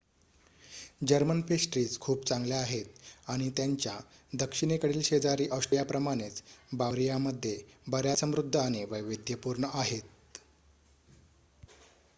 German pastries खूप चांगल्या आहेत आणि त्यांच्या दक्षिणेकडील शेजारी ऑस्ट्रियाप्रमाणेच बावरियामध्ये बर्‍याच समृध्द आणि वैविध्यपूर्ण आहेत